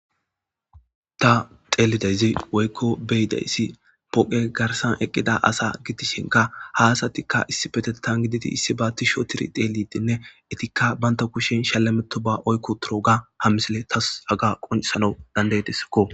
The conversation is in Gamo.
Ta teelidayzi woykko beyidayssi poqe garsan eqqida asa gitishinka haasatikka issi petetan giditi issi ba tisho tiri xeelidinne etikka baynta kushin shallameto ba oykko turoga hammisile tas aga qonsana dandaytesikko